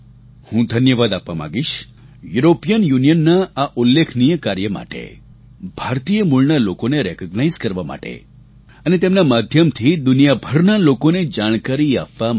હું ધન્યવાદ આપવા માંગીશ યુરોપિયન યુનિયનના આ ઉલ્લેખનીય કાર્ય માટે ભારતીય મૂળના લોકોને રિકોગ્નાઇઝ કરવા માટે અને તેમના માધ્યમથી દુનિયાભરના લોકોને જાણકારી આપવા માટે પણ